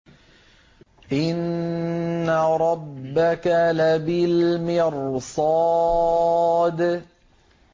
إِنَّ رَبَّكَ لَبِالْمِرْصَادِ